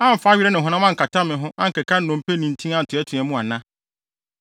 amfa were ne honam ankata me ho ankeka nnompe ne ntin antoatoa mu ana?